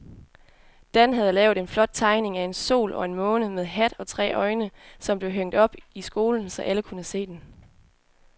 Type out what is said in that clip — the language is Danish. Dan havde lavet en flot tegning af en sol og en måne med hat og tre øjne, som blev hængt op i skolen, så alle kunne se den.